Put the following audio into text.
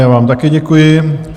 Já vám také děkuji.